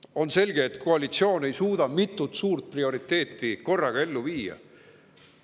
On selge, et koalitsioon ei suuda mitut suurt prioriteeti korraga ellu viia.